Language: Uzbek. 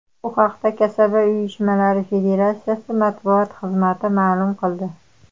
Bu haqda Kasaba uyushmalari Federatsiyasi matbuot xizmati ma’lum qildi .